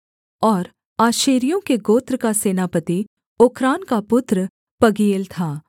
और आशेरियों के गोत्र का सेनापति ओक्रान का पुत्र पगीएल था